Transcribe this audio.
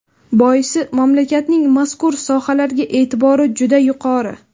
Boisi mamlakatning mazkur sohalarga e’tibori juda yuqori.